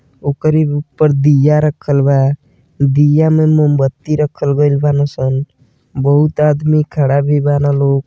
ओकरी ऊपर दिया रखल बा दिया में मोमबत्ती रखल गइल बनासन बहुत आदमी खड़ा भी बना लोग।